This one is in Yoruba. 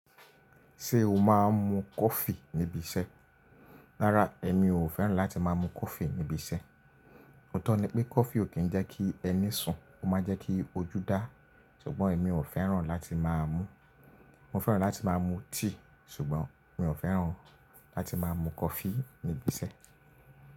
Ṣé o máa ń mu coffee níbi iṣẹ́? Rárá, èmi ò fẹ́ràn láti máa mu coffee níbi iṣẹ́. Òótọ́ ni pé coffee ò kí ń jẹ́ kí ẹni sùn, ó máa ń jẹ́ kí ojú dá, ṣùgbọ́n èmi ò fẹ́ràn láti máa mú. Mo fẹ́ràn láti máa mu tea ṣùgbọ́n mi ò fẹ́ràn láti máa mu coffee níbi isẹ́